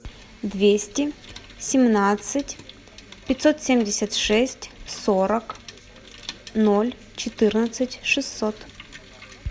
двести семнадцать пятьсот семьдесят шесть сорок ноль четырнадцать шестьсот